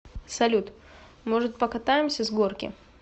салют может покатаемся с горки